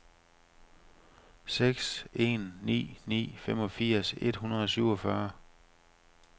seks en ni ni femogfirs et hundrede og syvogfyrre